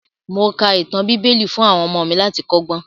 Mo ka ìtàn bíbẹ́lì fún àwọn ọmọ mi láti kọ́ ọgbọ́n.